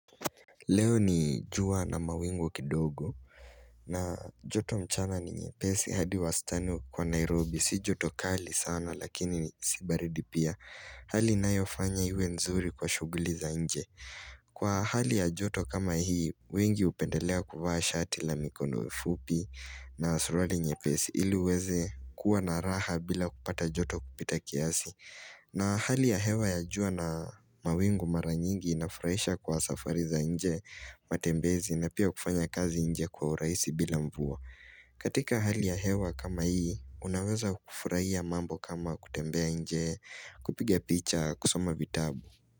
Leo ni jua na mawingu kidogo na joto mchana ni nyepesi hadi wastani kwa Nairobi si joto kali sana lakini si baridi pia Hali inayofanya iwe nzuri kwa shughuli za nje Kwa hali ya joto kama hii, wengi upendelea kuvaa shati la mikondo fupi na suruali nyepesi ili uweze kuwa na raha bila kupata joto kupita kiasi na hali ya hewa ya jua na mawingu mara nyingi inafurahisha kwa safari za nje matembezi na pia kufanya kazi nje kwa urahisi bila mvua. Katika hali ya hewa kama hii, unaweza kufurahia mambo kama kutembea nje kupige picha kusoma vitabu.